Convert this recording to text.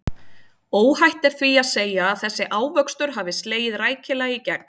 Óhætt er því að segja að þessi ávöxtur hafi slegið rækilega í gegn.